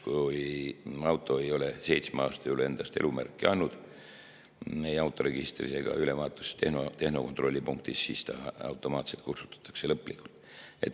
Kui auto ei ole seitsme aasta jooksul endast elumärki andnud autoregistris ega ole ülevaatust tehnokontrollis, siis ta automaatselt kustutatakse lõplikult.